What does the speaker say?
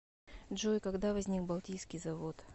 джой когда возник балтийский завод